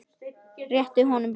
Og rétti honum blómin.